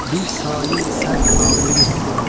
Bir sayə-i sərvinazə yetdim.